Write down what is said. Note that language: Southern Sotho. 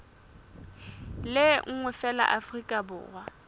le nngwe feela afrika borwa